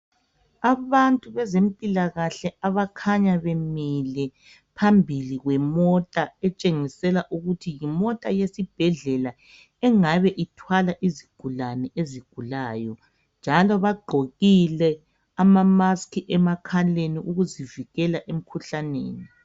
abantu bezempilakahle abakhanya bemile phambili kwemota okutshengisela ukuthi yimota yesibhedlela engabe ithwala izigulane ezigulayo njalo bagqokile ama mask emakhaleni ukuzivikela emkhuhlaneni